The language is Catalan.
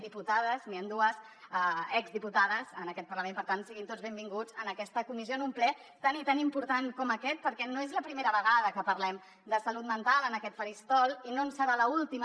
diputades n’hi ha dues ex diputades en aquest parlament per tant siguin tots benvinguts en aquesta comissió en un ple tan i tan important com aquest perquè no és la primera vegada que parlem de salut mental en aquest faristol i no en serà l’última